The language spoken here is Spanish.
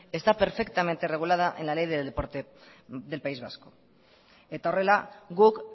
está perfectamente regulada en la ley del deporte del país vasco eta horrela guk